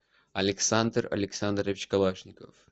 александр александрович калашников